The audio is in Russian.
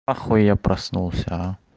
нахуй я проснулся а